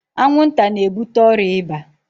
Anwụnta na-ebute ọrịa ịba.